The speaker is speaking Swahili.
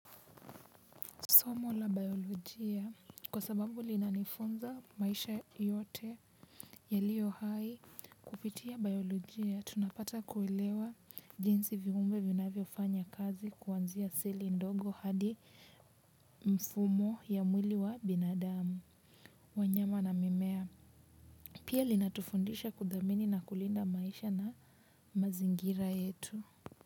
Somo la biolojia kwa sababu linanifunza maisha yote yalio hai kupitia biolojia, tunapata kuwelewa jinsi viumbe vinavyofanya kazi kuanzia zile ndogo hadi mfumo ya mwili wa binadamu. Wanyama na mimea, pia linatufundisha kudhamini na kulinda maisha na mazingira yetu.